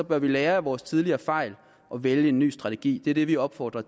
bør vi lære af vores tidligere fejl og vælge en ny strategi det er det vi opfordrer